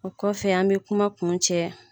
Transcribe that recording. O kɔfɛ an bɛ kuma kun cɛ